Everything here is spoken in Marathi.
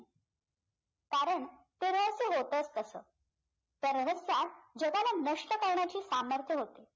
कारण ते रहस्य होतच तसं त्या रहस्यात जगाला नष्ट करण्याची सामर्थ्य होते